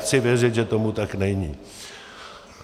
Chci věřit, že tomu tak není.